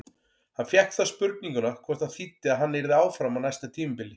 Hann fékk þá spurninguna hvort það þýddi að hann yrði áfram á næsta tímabili?